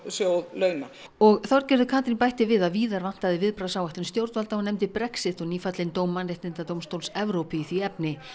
launa og Þorgerður Katrín bætti við að víðar vantaði viðbragðsáætlun stjórnvalda og nefndi Brexit og nýfallinn dóm Mannréttindadómstóls Evrópu í því efni